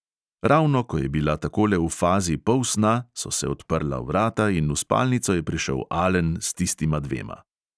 Ravno ko je bila takole v fazi polsna, so se odprla vrata in v spalnico je prišel alen s tistima dvema.